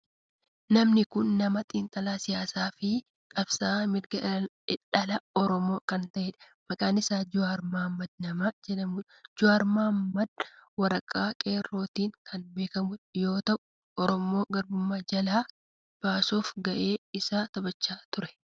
Namni kun nama xiinxalaa siyaasaa fi qabsa'aa mirga dhala oromoo kan ta'e maqaan isaa Jawaar mohaammed nama jedhamudha. Jawaar Mohaammed warraaqsa qeerrootin kan beekamu yoo ta'u oromoo gabrummaa jalaa baasuf gahee isaa taphachaa ture.